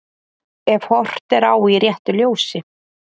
Ef horft er á í réttu ljósi.